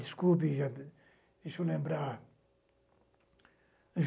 Desculpe, gente, deixa eu lembrar.